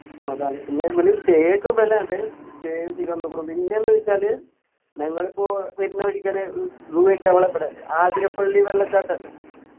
അതാണ് പിന്നെ ഇവലും stay ഒക്കെ ഇവലാണ് stay പിന്നെ എന്ത് വെച്ചാല് ഞങ്ങളിപ്പോ വരുന്ന വഴിക്കെന്നെ ആതിരപ്പള്ളി വെള്ളച്ചാട്ടം ഇല്ലേ